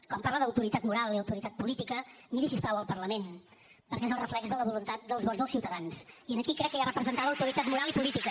quan parla d’autoritat moral i autoritat política miri si us plau el parlament perquè és el reflex de la voluntat dels vots dels ciutadans i aquí crec que hi ha representada autoritat moral i política